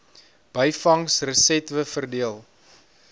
byvangs resetwe verdeel